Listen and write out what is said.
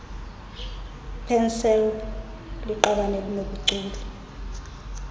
pansalb liqabane elinobuchule